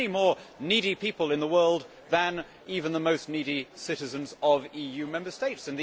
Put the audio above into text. There are many more needy people in the world than even the most needy citizens of EU Member States.